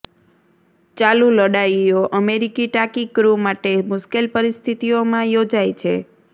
ચાલુ લડાઈઓ અમેરિકી ટાંકી ક્રૂ માટે મુશ્કેલ પરિસ્થિતિઓ માં યોજાય છે